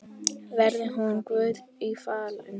Veri hún Guði falin.